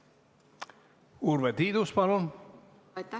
Urve Tiidus, palun!